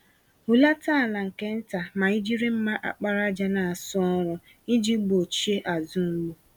Hulata ala nke ntà ma ijiri mma àkpàràjà n'asụ ọrụ, iji gbochie azụ-mgbu